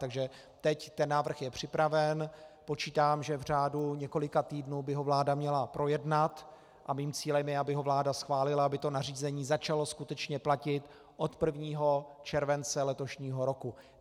Takže teď ten návrh je připraven, počítám, že v řádu několika týdnu by ho vláda měla projednat, a mým cílem je, aby ho vláda schválila, aby to nařízení začalo skutečně platit od 1. července letošního roku.